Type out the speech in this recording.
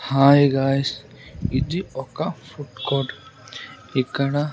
Hi guys ఇది ఒక food court ఇక్కడ.